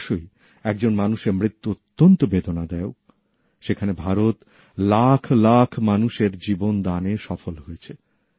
অবশ্যই একজন মানুষের মৃত্যু অত্যন্ত বেদনাদায়ক সেখানে ভারত লাখ লাখ মানুষের জীবন দানে সফল হয়েছে